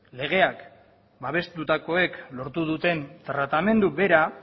legeak babestutakoek lortu duten tratamendu bera